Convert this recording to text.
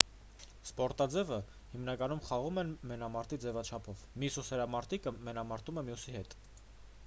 սպորտաձևը հիմնականում խաղում են մենամարտի ձևաչափով մի սուսերամարտիկը մենամարտում է մյուսի հետ